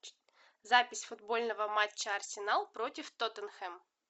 запись футбольного матча арсенал против тоттенхэм